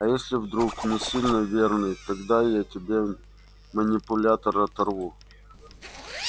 а если вдруг не сильно верный тогда я тебе манипулятор оторву